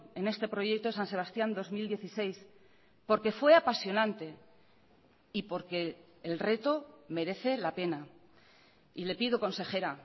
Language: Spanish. en este proyecto san sebastián dos mil dieciséis porque fue apasionante y porque el reto merece la pena y le pido consejera